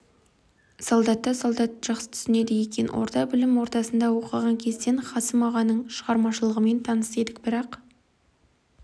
солдатты солдат жақсы түсінеді екен орта білім ордасында оқыған кезден қасым ағаның шығармашылығымен таныс едік бірақ